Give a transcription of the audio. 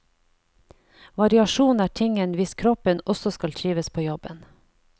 Variasjon er tingen hvis kroppen også skal trives på jobben.